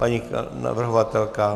Paní navrhovatelka?